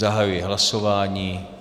Zahajuji hlasování.